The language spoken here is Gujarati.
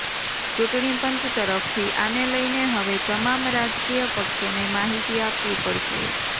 ચૂંટણી પંચ તરફથી આને લઇને હવે તમામ રાજકીય પક્ષોને માહિતી આપવી પડશે